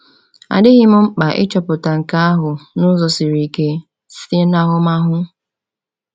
A dịghị m mkpa ịchọpụta nke ahụ n’ụzọ siri ike—site n’ahụmahụ.